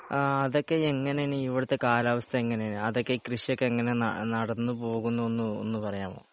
ആ അതൊക്കെ എങ്ങനെയാണ് ഇവിടുത്തെ കാലാവസ്ഥ എങ്ങനെയാ അതൊക്കെ കൃഷിയൊക്കെ എങ്ങനെയാ ന നടന്നുപോകുന്നെന്ന് ഒന്ന് പറയാമോ?